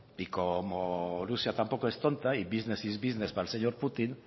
y como rusia tampoco es tonta y business es business para el señor putin